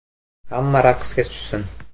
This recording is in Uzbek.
Hamma raqsga tushsin!